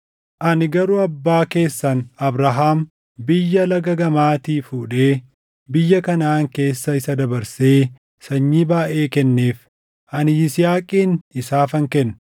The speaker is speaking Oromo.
Ani garuu abbaa keessan Abrahaam biyya Laga gamaatii fuudhee biyya Kanaʼaan keessa isa dabarsee sanyii baayʼee kenneef. Ani Yisihaaqin isaafan kenne;